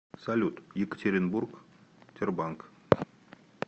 салют екатеринбург тербанк